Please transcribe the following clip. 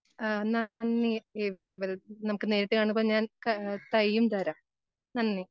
ആഹ് അന്നാ നമുക്ക് നേരിട്ട് കാണുമ്പോ ഞാൻ തൈയ്യും തരാം. നന്ദി.